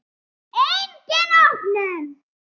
Engin opnun.